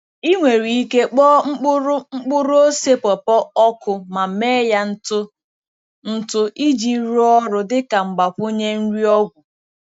Ị nwere ike kpọọ mkpụrụ mkpụrụ-ose pawpaw ọkụ ma mee ya ntụ ntụ iji rụọ ọrụ dị ka mgbakwunye nri ọgwụ.